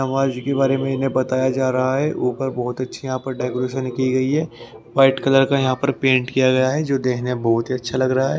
समाज के बारे में इन्हें बताया जा रहा है ऊपर बहुत अच्छी यहां पर डेकोरेशन की गई है वाइट कलर का यहां पर पेंट किया गया है जो देखने में बहुत ही अच्छा लग रहा है।